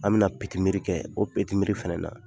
An bɛna kɛ, o fɛnɛ na